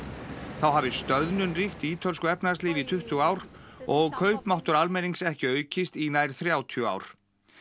þá hafi stöðnun ríkt í ítölsku efnahagslífi í tuttugu ár og kaupmáttur almennings ekki aukist í nær þrjátíu ár